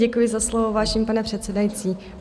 Děkuji za slovo, vážený pane předsedající.